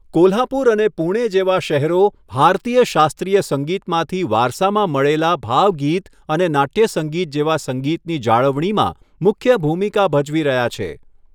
કોલ્હાપુર અને પુણે જેવા શહેરો ભારતીય શાસ્ત્રીય સંગીતમાંથી વારસામાં મળેલા ભાવગીત અને નાટ્ય સંગીત જેવા સંગીતની જાળવણીમાં મુખ્ય ભૂમિકા ભજવી રહ્યા છે.